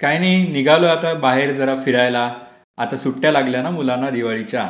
काही नाही. निघालोय आता बाहेर जरा फिरायला. आता सुट्ट्या लागल्या ना मुलांना दिवाळीच्या.